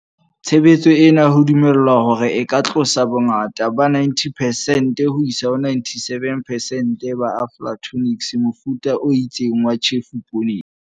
Tshebetso ena ho dumelwa hore e ka tlosa bongata ba 90 percent 97 ho isa ho percent ba, aflatoxins, mofuta o itseng wa tjhefo pooneng.